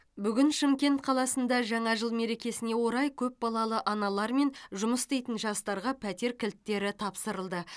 бүгін шымкент қаласында жаңа жыл мерекесіне орай көпбалалы аналар мен жұмыс істейтін жастарға пәтер кілттері тапсырылды